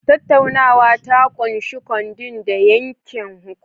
Tattaunawa ta ƙunshi codeing da yanke hukunci